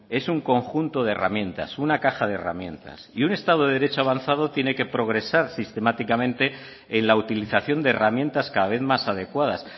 es un conjunto de herramientas una caja de herramientas y un estado de derecho avanzado tiene que progresar sistemáticamente en la utilización de herramientas cada vez más adecuadas